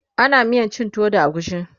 ana miyan cin tuwo da agushi